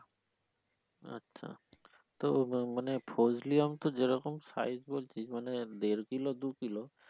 আচ্ছা তো মানে ফজলি আম তো যেরকম size বলছিস মানে দেড় kilo দু kilo